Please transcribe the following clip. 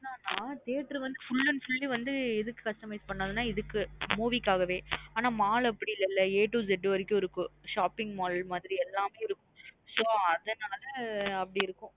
என்ன ந theatre வந்து full and fully எதுக்கு customise பண்ணது நா movie காக வே! mall அப்டி இல்லேல a to z வரைக்கும் இருக்கும் shopping mall மாத்ரி எல்லாமே இருக்கும். so அதுனால அப்டி இருக்கும்.